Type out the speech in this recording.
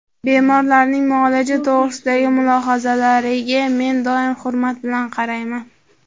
Bemorlarning muolaja to‘g‘risidagi mulohazalariga men doim hurmat bilan qarayman.